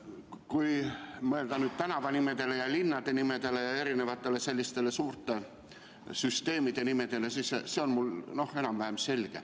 Kui mõelda tänavanimedele, linnade nimedele ja selliste suurte süsteemide nimedele, siis on mul see enam-vähem selge.